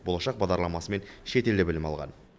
болашақ бағдарламасымен шетелде білім алған